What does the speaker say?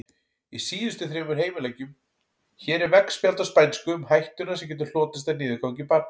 Hér er veggspjald á spænsku um hættuna sem getur hlotist af niðurgangi barna.